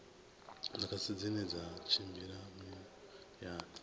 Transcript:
mudagasi dzine dza tshimbila muyani